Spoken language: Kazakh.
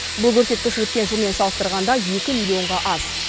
бұл көрсеткіш өткен жылмен салыстырғанда екі миллионға аз